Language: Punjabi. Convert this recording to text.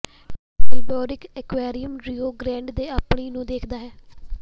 ਆਲ੍ਬੁਕਰਿਕ ਐਕੁਆਰੀਅਮ ਰਿਓ ਗ੍ਰੈਂਡ ਦੇ ਪਾਣੀ ਨੂੰ ਦੇਖਦਾ ਹੈ